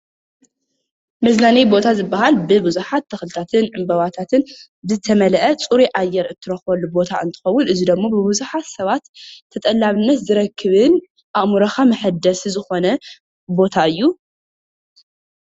መዝናነይ ቦታ ዝብሃል ብብዙሓት ተክልታትን ዕንበባታትን ዝተመለኣ ፅሩይ ኣየር እትረክበሉ ቦታ እንትከውን፤ እዚ ደሞ ብቡዙሓት ሰባት ተጠላብነት ዝረክብን ኣእምሮካ መሕደሲ ዝኮነ ቦታ እዩ።